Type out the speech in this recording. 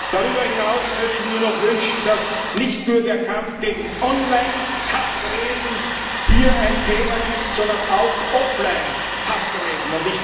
Darüber hinaus würde ich mir noch wünschen, dass nicht nur der Kampf gegen Online Hassreden hier ein Thema ist, sondern auch Offline Hassreden.